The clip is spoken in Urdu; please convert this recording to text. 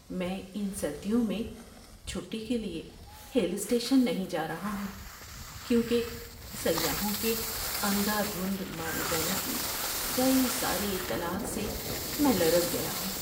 میں ان سردیوں میں چھٹی کے لیے ہل اسٹیشن نہیں جا رہا ہوں کیونکہ سیاحوں کے اندھا دھند مارے جانے کی کئی ساری اطلاعات سے میں لرز گیا ہوں۔